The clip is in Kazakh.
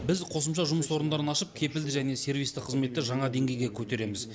біз қосымша жұмыс орындарын ашып кепілді және сервисті қызметті жаңа денгейге көтереміз